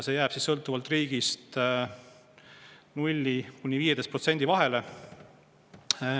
See jääb sõltuvalt riigist 0–15% vahele.